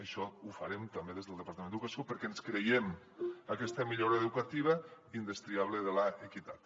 això ho farem també des del departament d’educació perquè ens creiem aquesta millora educativa indestriable de l’equitat